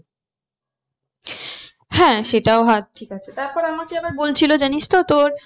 হ্যাঁ সেটাও ঠিক আছে। তার পর আমাকে আবার বলছিলো জানিস তো তোর